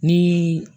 Ni